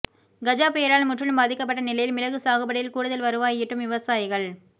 கஜா புயலால் முற்றிலும் பாதிக்கப்பட்ட நிலையில் மிளகு சாகுபடியில் கூடுதல் வருவாய் ஈட்டும் விவசாயிகள்